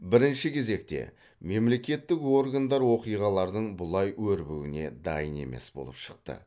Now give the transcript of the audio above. бірінші кезекте мемлекеттік органдар оқиғалардың бұлай өрбуіне дайын емес болып шықты